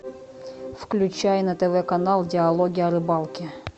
включай на тв канал диалоги о рыбалке